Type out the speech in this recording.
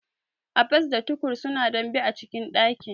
Abbas da Tukur suna dambe a cikin dakin.